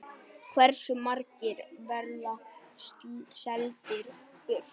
Hversu margir verða seldir burt?